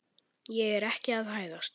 Ég er ekki að hæðast.